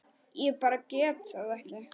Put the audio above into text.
Ég bara gat það ekki.